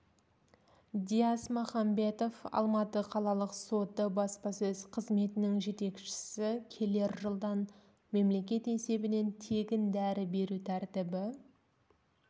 дияс махамбетов алматы қалалық соты баспасөз қызметінің жетекшісі келер жылдан мемлекет есебінен тегін дәрі беру тәртібі